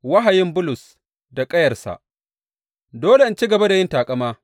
Wahayin Bulus da ƙayarsa Dole in ci gaba da yin taƙama.